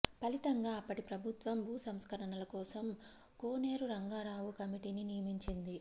ఫలితంగా అప్పటి ప్రభుత్వం భూసంస్కరణల కోసం కోనేరు రంగారావు కమిటీని నియమించింది